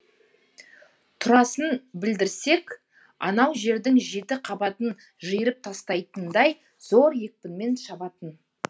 турасын білдірсек анаужердің жеті қабатын жиырып тастайтындай зор екпінмен шабатын